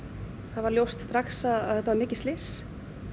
það var ljóst strax að þetta var mikið slys